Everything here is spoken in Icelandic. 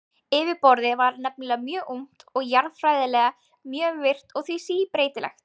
Yfirborðið var nefnilega mjög ungt og jarðfræðilega mjög virkt og því síbreytilegt.